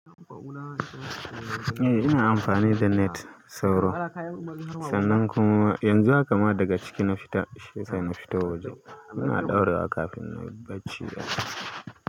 Eh ina amfani da net ɗin sauro, sannan kuma yanzu haka ma daga ciki na fita shiyasa na fita waje ina ɗaurawa kafin na yi bacci da safe.